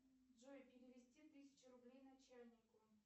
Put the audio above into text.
джой перевести тысячу рублей начальнику